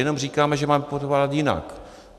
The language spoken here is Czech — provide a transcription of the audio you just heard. Jenom říkáme, že máme podporovat jinak.